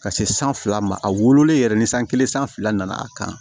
Ka se san fila ma a wololen yɛrɛ ni san kelen san fila nana kan